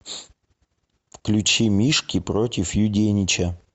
включи мишки против юденича